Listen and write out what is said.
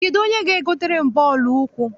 Kedụ onye ga- egotere m bọọlụ ụkwụ?